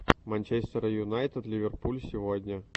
манчестер юнайтед ливерпуль сегодня